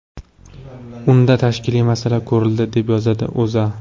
Unda tashkiliy masala ko‘rildi, deb yozadi O‘zA.